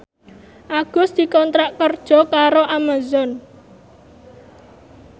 Agus dikontrak kerja karo Amazon